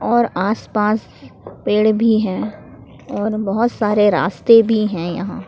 और आस पास पेड़ भी हैं और बहोत सारे रास्ते भी हैं यहां।